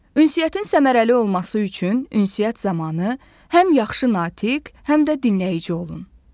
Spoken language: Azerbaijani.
Ünsiyyətin səmərəli olması üçün ünsiyyət zamanı həm yaxşı natiq, həm də dinləyici olun.